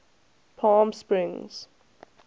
palmsprings